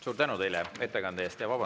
Suur tänu teile ettekande eest!